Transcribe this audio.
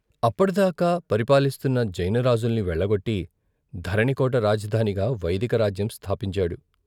అప్పటి దాకా పరిపాలిస్తున్న జైన రాజుల్ని వెళ్ళగొట్టి ధరణికోట రాజధానిగా వైదిక రాజ్యం స్థాపించాడు.